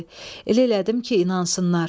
Elə elədim ki, inansınlar.